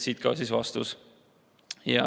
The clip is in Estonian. Siit ka vastus.